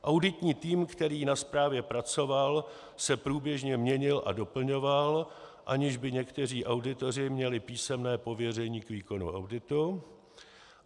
Auditní tým, který na zprávě pracoval, se průběžně měnil a doplňoval, aniž by někteří auditoři měli písemné pověření k výkonu auditu.